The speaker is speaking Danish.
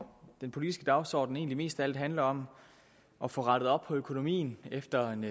den politiske dagsorden egentlig mest af alt handler om at få rettet op på økonomien efter en